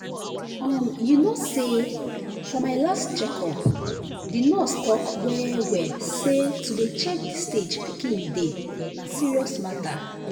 umyou know say for my last check up the nurse talk well well say to dey check the stage pikin dey na serious matter